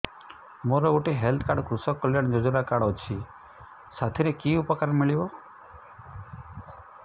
ମୋର ଗୋଟିଏ health card କୃଷକ କଲ୍ୟାଣ ଯୋଜନା କାର୍ଡ ଅଛି ସାଥିରେ କି ଉପକାର ମିଳିବ